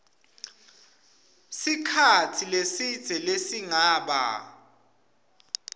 sikhatsi lesidze lesingaba